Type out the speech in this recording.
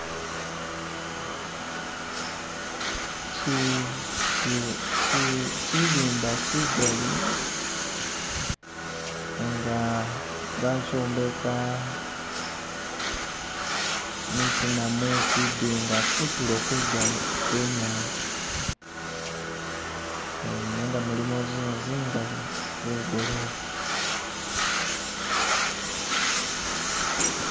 Kyilimba kyigali, nga ba kyombeka mwisina mwe kyidinga kunturo kwe nyanza nenga mulimo zinzu zingali zegolofa